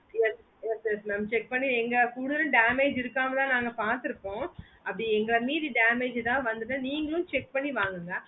yes yes yes mam check பண்ணி இங்க full damage இருக்காங்களான்னு பத்துப்போம் அப்டி எங்களை மீறி damage எதாச்சி வந்துதுன்னா நீங்களோ check பாத்து வாங்குங்க